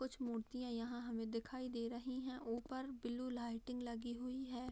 कुछ मूर्तियाँ यहाँ हमे दिखाई दे रही हैं ऊपर ब्लू लाइटिंग लगी हुई हैं।